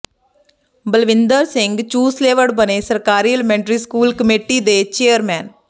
ਬਲਵਿੰਦਰ ਸਿੰਘ ਚੂਸਲੇਵੜ ਬਣੇ ਸਰਕਾਰੀ elementary school committee ਦੇ ਚੇਅਰਮੈਨ